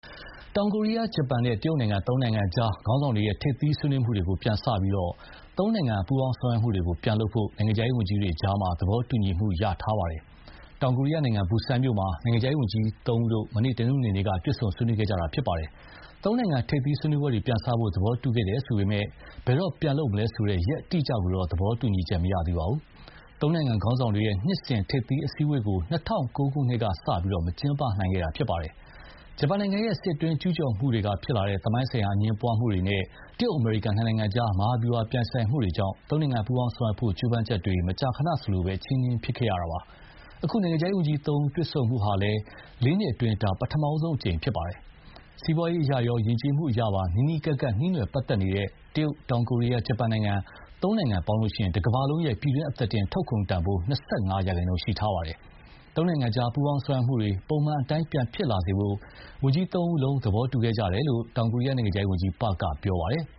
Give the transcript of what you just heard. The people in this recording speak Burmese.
တောင်ကိုရီးယား၊ ဂျပန်နဲ့ တရုတ်နိုင်ငံ သုံးနိုင်ငံကြား ခေါင်းဆောင်တွေရဲ့ ထိပ်သီးဆွေးနွေးမှုတွေကို ပြန်စပြီး သုံးနိုင်ငံ ပူးပေါင်းဆောင်ရွက်မှုတွေပြန်လုပ်ဖို့ နိုင်ငံခြားရေးဝန်ကြီးတွေကြား သဘောတူညီချက်ရခဲ့ပါတယ်။ တောင်ကိုရီးယားနိုင်ငံ ဘူဆန်မြို့မှာ နိုင်ငံခြားရေးဝန်ကြီးတို့ မနေ့ တနင်္ဂနွေနေ့က တွေ့ဆုံဆွေးနွေးခဲ့ကြတာပါ။ သုံးနိုင်ငံ ထိပ်သီးဆွေးနွေးပွဲတွေ ပြန်စဖို့ သဘောတူခဲ့တယ်ဆိုပေမယ့်လည်း ဘယ်တော့ပြန်လုပ်မလဲဆိုတဲ့ ရက်အတိအကျကိုတော့ သဘောတူညီချက်မရသေးပါဘူး။ သုံးနိုင်ငံ ခေါင်းဆောင်တွေရဲ့ နှစ်စဉ်ထိပ်သီးအစည်းအဝေးကို ၂၀၀၉ ခုနှစ်ကစလို့ မကျင်းပနိုင်ခဲ့တာဖြစ်ပါတယ်။ ဂျပန်နိုင်ငံရဲ့ စစ်အတွင်းကျူးကျော်မှုကနေဖြစ်လာတဲ့ သမိုင်းဆိုင်ရာအငြင်းပွားမှုတွေနဲ့ တရုတ် အမေရိကန် နှစ်နိုင်ငံကြား မဟာဗျူဟာပြိုင်ဆိုင်မှုတွေကြောင့် သုံးနိုင်ငံပူးပေါင်းဆောင်ရွက်ဖို့ ကြိုးပမ်းချက်တွေ မကြာခဏ အချည်းနှီးဖြစ်ခဲ့ရတာပါ။ အခု နိုင်ငံခြားရေးဝန်ကြီးသုံးဦးတွေ့ဆုံမှုဟာလည်း လေးနှစ်အတွင်းမှာ ဒါ ပထမဆုံးအကြိမ်ပါ။ စီးပွားရေးအရရော ယဉ်ကျေးမှုအရပါ နီးနီးကပ်ကပ် နှီးနွယ်ပတ်သက်နေတဲ့ တရုတ်၊ တောင်ကိုရီးယားနဲ့ ဂျပန် သုံးနိုင်ငံပေါင်းရင် တကမ္ဘာလုံးရဲ့ ပြည်တွင်းအသားတင်ထုတ်ကုန်တန်ဖိုး ၂၅ ရာခိုင်နှုန်းရှိထားပါတယ်။ သုံးနိုင်ငံကြားပူး ပေါင်းဆောင်ရွက်မှုတွေ ပုံမှန်အတိုင်းပြန်ဖြစ်လာစေဖို့ ဝန်ကြီးသုံးဦးလုံး သဘောတူခဲ့ကြတယ်လို့ တောင်ကိုရီးယား နိုင်ငံခြားရေးဝန်ကြီး Park က ပြောပါတယ်။